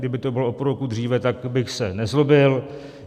Kdyby to bylo o půl roku dříve, tak bych se nezlobil.